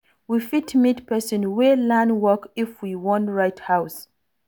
We fit meet person wey learn work if we wan wire house